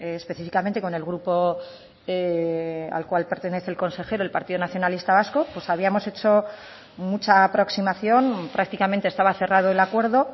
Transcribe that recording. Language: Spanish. específicamente con el grupo al cual pertenece el consejero el partido nacionalista vasco pues habíamos hecho mucha aproximación prácticamente estaba cerrado el acuerdo